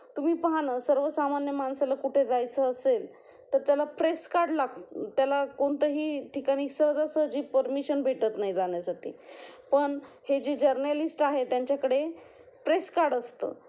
तुम्ही पाहा ना, सर्वसामान्य माणसाला कुठे जायचे असेल तर त्याला प्रेस कार्ड लागतं, त्याला कोणत्याही ठिकाणी सहजासहजी परमिशन भेटत नाही जाण्यासाठी पण हे जर्नलिस्ट आहे त्यांच्याकडे प्रेस कार्ड असतं